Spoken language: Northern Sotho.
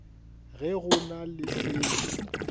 ge go na le seo